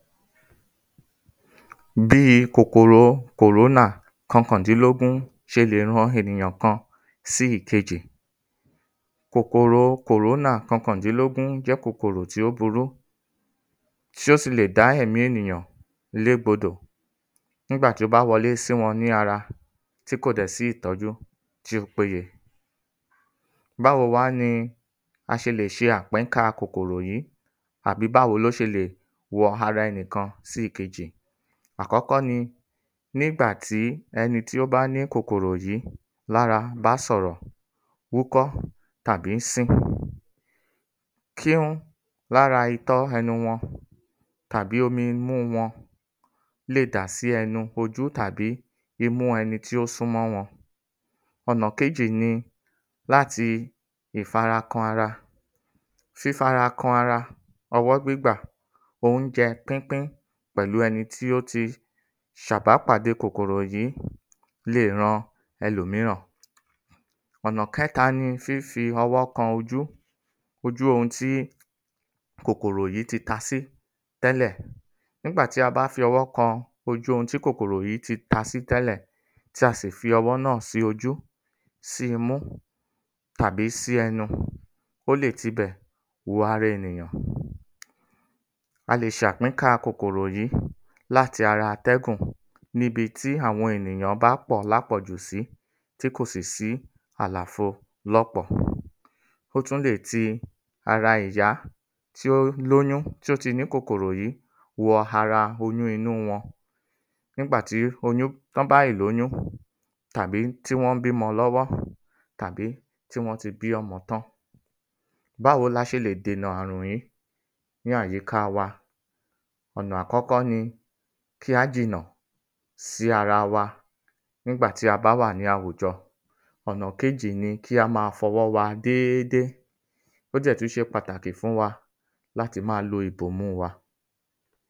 ﻿Bí i kòkòro CORONA kọkàndínlógún ṣe lè ran ènìyàn kan sí ìkejì. Kòkòro CORONA kọkàndínlógún jẹ́ kòkòro tí ó burú tí ó si lè dá ẹ̀mí ènìyàn légbodò nígbà tí ó bá wọ lé sí wọn ní ara tí kò dẹ̀ sí ìtọ́jú tí ó pé ye. Báwo wá ni a ṣe lè ṣe àpínká kòkòrò yí àbí báwo ló ṣe lè wọ ara ẹnì kan sí èkejì? Àkọ́kọ́ ní, nígbà tí ẹni tí ó bá ní kòkòrò yí lára bá sọ̀rọ̀, hú ‘kọ́ tàbí sín, kí-ún lára itọ́ ẹnu wọn àbí omi imú wọn lè dà sí ẹnu, ojú, tàbí imú ẹni tí ó sún mọ́ wọn. Ọ̀nà kejì ni láti ìfara kan ara. Fífara kan ara, ọwọ́ gbígbà, óunjẹ pípín pẹ̀lú ẹni tí ó ti ṣàbápàdé kòkòrò yí lè ran ẹlòmíràn. Ọ̀nà kẹ́ta ni fífí owó kan ojú, ojú ohun tí kòkòrò yí ti tasí tẹ́lẹ̀. Nígbà ti a bá fi ọwọ́ kan ojú ohun tí kòkòrò yí ti tasí tẹ́lẹ̀ tí a sì fi ọwọ́ náà sí ojú, sí imú, tàbí sí ẹnu, ó lè ti bẹ̀ wọ ara ènìyàn. A lè ṣe àpínká kòkòrò yí láti ara atẹ́gùn níbi ti àwọn ènìyàn bá pọ̀ lápọ̀ jù sí tí kò sí sí àlàfo lọ́pọ̀. Ó tún lè ti ara ìyá tí ó lóyún tó ti ní kòkòrò yí wọ ara oyún inú wọn nígbà tí t’ọ́n bá yì lóyún tàbí tí wọ́n ń bímọ lọ́wọ́ àbí tí wọ́n ti bí ọmọ tán. Bá wo la ṣe lè dènà àrùn yí ní àyíká wa? Ọ̀nà àkọ́kọ́ ni kí á jìnà sí ara wa nígbà tí a bá wà ní àwùjọ. Ọ̀nà kejì ni kí a ma fọwọ́ wa déédé. Ó dẹ̀ tú ṣe patakì fún wa láti má a ìbomú wa.